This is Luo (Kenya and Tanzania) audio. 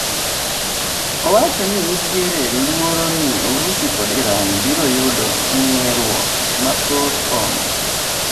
Owacho ni nitiere luoro ni Urusi kod Iran biro yudo ng'eeruok mathoth kono